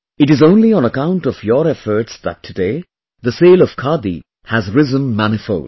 It is only on account of your efforts that today, the sale of Khadi has risen manifold